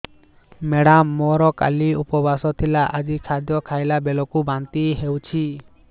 madam ମୋର କାଲି ଉପବାସ ଥିଲା ଆଜି ଖାଦ୍ୟ ଖାଇଲା ବେଳକୁ ବାନ୍ତି ହେଊଛି